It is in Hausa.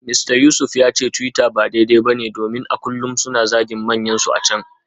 Mista Yusuf ya ce twitter ba daidai ba ne domin a kullum mutane suna zagin manyansu a can.